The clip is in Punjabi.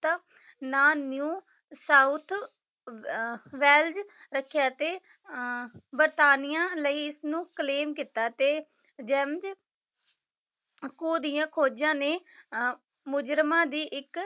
ਨਾਂ new ਸਾਊਥ ਅਹ ਵੈਲਜ ਰੱਖਿਆ ਤੇ ਅਹ ਬਰਤਾਨੀਆਂ ਲਈ ਇਸਨੂੰ claim ਕੀਤਾ ਤੇ ਜੈਮਜ ਕੋ ਦੀਆਂ ਖੋਜਾਂ ਨੇ ਅਹ ਮੁਜਰਮਾਂ ਦੀ ਇੱਕ